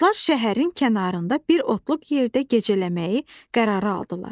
Dostlar şəhərin kənarında bir otluq yerdə gecələməyi qərara aldılar.